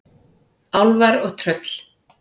Álfar og tröll.